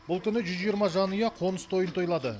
бұл күні жүз жиырма жанұя қоныс тойын тойлады